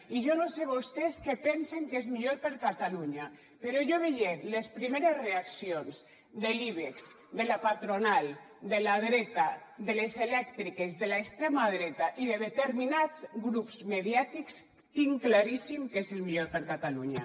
i jo no sé vostès què pensen que és millor per a catalunya però jo veient les primeres reaccions de l’ibex de la patronal de la dreta de les elèctriques de l’extrema dreta i de determinats grups mediàtics tinc claríssim què és el millor per a catalunya